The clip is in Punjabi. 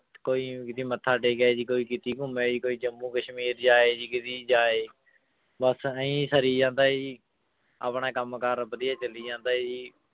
ਕੋਈ ਜੀ ਮੱਥਾ ਟੇਕੇ ਆਏ ਜੀ, ਕੋਈ ਕਿਤੇ ਘੁੰਮੇ ਆਏ, ਕੋਈ ਜੰਮੂ ਕਸ਼ਮੀਰ ਜਾ ਆਏ ਜੀ, ਕਿਤੇ ਜਾ ਆਏ ਬਸ ਆਈਂ ਸਰੀ ਜਾਂਦਾ ਜੀ, ਆਪਣਾ ਕੰਮ ਕਾਰ ਵਧੀਆ ਚੱਲੀ ਜਾਂਦਾ ਜੀ।